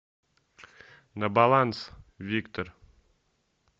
на баланс виктор